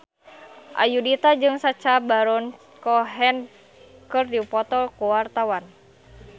Ayudhita jeung Sacha Baron Cohen keur dipoto ku wartawan